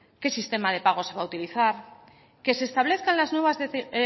qué sistema de pago se va a utilizar que se establezcan las nuevas